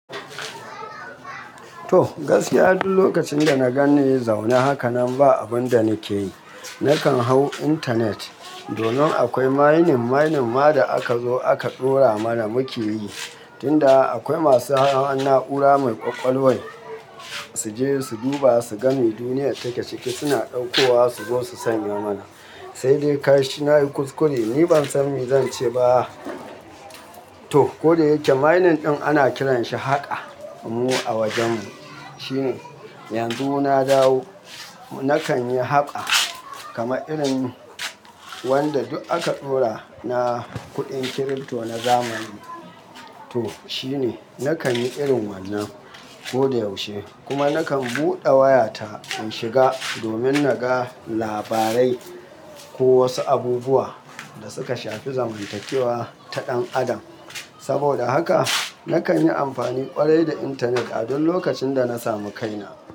To, gaskiya duk lokacin da na gani ya zauna hakanan ba abun da nake yi. Nakan hau intanet. Domin akwai mining, mining ma da aka zo aka ɗora mana muke yi. Tinda akwai masu hannun na'ura mai ƙwaƙwalwan su je su duba su gani duniya take ciki suna ɗauko wa su zo su sanya mana. Sai dai kai shi nayi kuskure ni ban sani zan ce ba. To, kodayake mining ɗin ana kiranshi haƙa mu a wajenmu. Shine, yanzu na dawo nakan yi haƙa kama irin wanda duk aka ɗora na kuɗin kirifto na zamani. To shine, nakan yi irin wannan ko da yaushe. Kuma nakan buɗe wayata in shiga domin naga labarai ko wasu abubuwa da suka shafi zamantakewa ta ɗan adam. Saboda haka nakan yi amfani ƙwarai da intanet a duk lokacin da na samu kaina.